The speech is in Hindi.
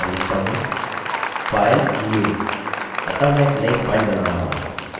फिर मैं आगे बढ़ता हूँ और लिखता हूँ filenewअतः मैं एक नई फाइल बना रहा हूँ